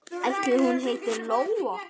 Ætli hún heiti Lóa?